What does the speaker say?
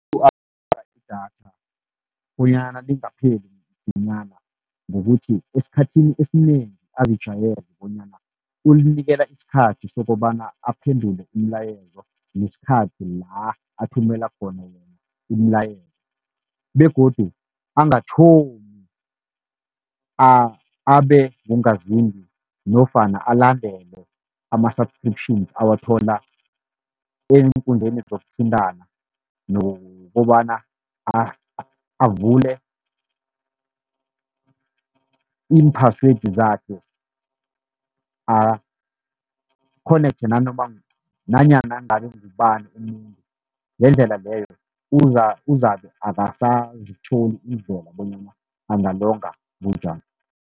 idatha bonyana lingapheli msinyana, ngokuthi esikhathini esinengi azijwayeze bonyana ulinikela isikhathi, sokobana aphendule imilayezo nesikhathi la athumela khona yona imilayezo. Begodu angathomi abe ngungazimbi nofana alandele ama-subscription awathola eenkundleni zokuthintana, nokobana avule imphasiwedi zakhe akhonekthe nanoma nanyana ngabe ngubani umuntu. Ngendlela leyo uzabe akasazitholi bonyana angalonga bunjani.